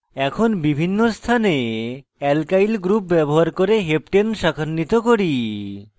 এখন বিভিন্ন স্থানে alkyl groups ব্যবহার করে heptane heptane শাখান্বিত করি